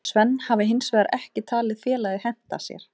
Sven hafi hinsvegar ekki talið félagið henta sér.